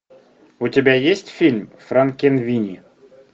у тебя есть фильм франкенвини